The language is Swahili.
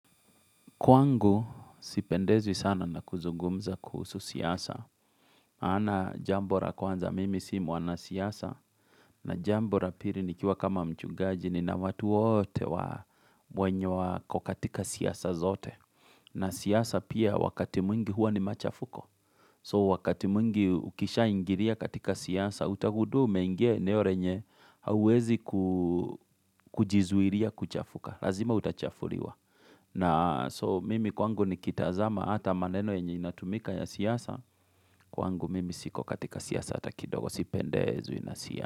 Kwangu sipendezwi sana na kuzungumza kuhusu siasa. Ana jambo ra kwanza mimi si mwana siasa. Na jambora piri ni kiwa kama mchungaji ni na watu wote wa mwenye wa kukatika siyasa zote. Na siasa pia wakati mwingi huwa ni machafuko. So wakati mwingi ukisha ingiria katika siasa utahudu umengia enero yenye huawezi kujizuiria kuchafuka. Lazima utachafuriwa. Na so mimi kwangu ni kitazama hata maneno yenye inatumika ya siasa kwangu mimi siko katika siasa atakidogo sipendezwi na siasa.